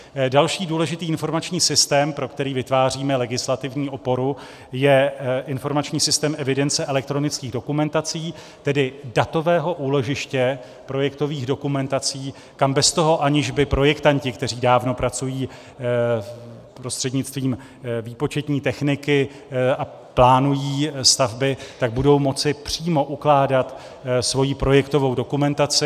Další důležitý informační systém, pro který vytváříme legislativní oporu, je informační systém evidence elektronických dokumentací, tedy datového úložiště projektových dokumentací, kam bez toho, aniž by projektanti, kteří dávno pracují prostřednictvím výpočetní techniky a plánují stavby, tak budou moci přímo ukládat svoji projektovou dokumentaci.